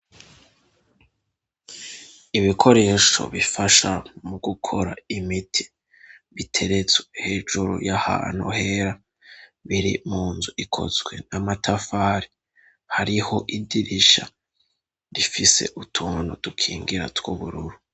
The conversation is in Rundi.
Ibikoresho bifasha mu gukora imiti biteretswe hejuru y'ahantu her, biri mu nzu ikozwe n'amatafari; hariho idirisha rifise utuntu tukingira tw'ubururu.